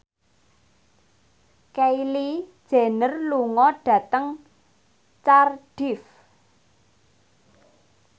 Kylie Jenner lunga dhateng Cardiff